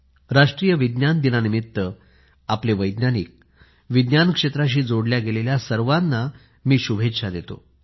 राष्ट्रीय विज्ञान दिना निमित्त आपले वैज्ञानिकविज्ञान क्षेत्राशी जोडल्या गेलेल्या सर्वाना मी शुभेच्छा देतो